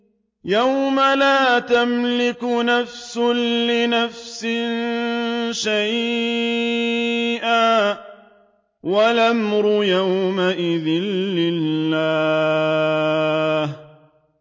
يَوْمَ لَا تَمْلِكُ نَفْسٌ لِّنَفْسٍ شَيْئًا ۖ وَالْأَمْرُ يَوْمَئِذٍ لِّلَّهِ